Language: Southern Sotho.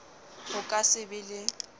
ho ka se be le